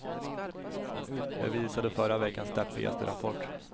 Det visade förra veckans deppigaste rapport.